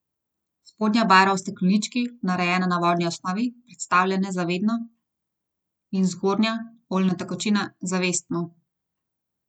Spodnja barva v steklenički, narejena na vodni osnovi, predstavlja nezavedno in zgornja, oljna tekočina, zavestno.